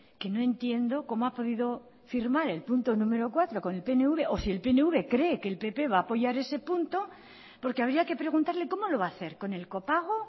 que no entiendo cómo ha podido firmar el punto número cuatro con el pnv o si el pnv cree que el pp va a apoyar ese punto porque habría que preguntarle cómo lo va a hacer con el copago